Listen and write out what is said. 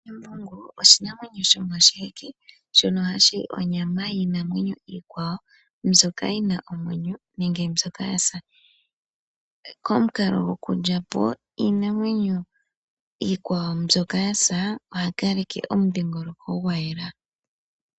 Embungu oshinamwenyo shomoshiheke shono hashi li onyama yiinamwenyo iikwawo mbyoka yina omwenyo nenge mbyoka yasa, komukalo gokulyapo iinamwenyo iikwawo mbyoka yasa ohakaleke omudhiingoloko gwayela.